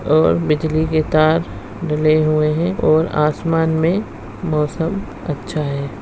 और बिजली के तार डले हुए हैं और आसमान में मौसम अच्छा है।